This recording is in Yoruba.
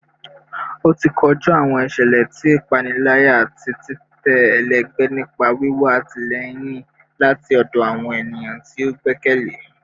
oti koju awọn iṣẹlẹ ti ipanilaya ati titẹ ẹlẹgbẹ nipa wiwa atilẹyin lati ọdọ awọn eniyan ti o gbẹkẹle